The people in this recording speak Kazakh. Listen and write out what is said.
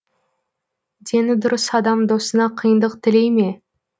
дені дұрыс адам досына қиындық тілей ме